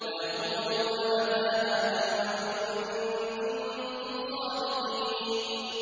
وَيَقُولُونَ مَتَىٰ هَٰذَا الْوَعْدُ إِن كُنتُمْ صَادِقِينَ